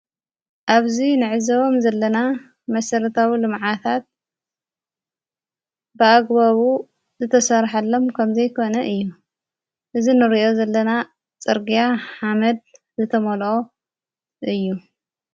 ኣብዙይ ንዕዘቦም ዘለና መሠረታዊ ሉመዓታት ብኣግባቡ ዝተሠርሐሎም ከምዘይኮነ እዩ እዝ ንርእኦ ዘለና ጸርጋያ ሓመድ ዘተመልኦ እዩ።